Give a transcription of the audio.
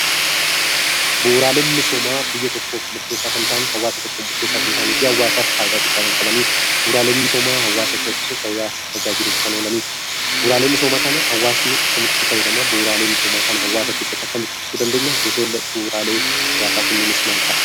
Bu'uuraaleen misoomaa biyya tokkoof murteessaa kan ta'an hawaasa tokkoof murteessaa kan ta'anii fi hawaasaaf fayidaa guddaa kan qabanidha. Bu'uuraaleen misoomaa hawaasa ceesisuu fi tajaajiluuf kan oolanidha. Bu'uuraalee misoomaa kana hawaasni akkamittiin itti fayyadama? Bu'uuraalee misoomaa hawaasa keessatti akkamittiin ibsuu dandeenya? Gosoonni bu'uuraalee hawaasaa kunneenis maal fa'aa?